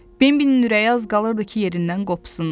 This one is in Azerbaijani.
Bembilin ürəyi az qalırdı ki, yerindən qopsun.